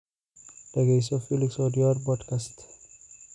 dhegayso felix odiwuor podcast